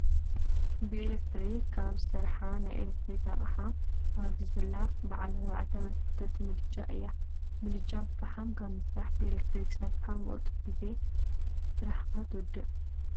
ብኤሌክትሪክ ካብ ዝሰረሓ ናይ ኤሌከትሪክ ኣቅሓ ኣብዚ ዘላ በዓል ኣርባዕተ መሰክተቲ ምድጃ እያ። ምድጃ ብፍሓም ካበ ምስራሕ ብኤሌክትሪክ ሰሪሕካ ብቁልጡፍ ግዜ ስራሕካ ትውድእ።